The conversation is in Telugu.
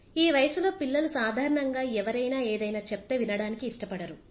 ఈ వయసులో పిల్లలు సాధారణంగా ఎవరైనా ఏదైనా చెప్తే వినడానికి ఇష్టపడరు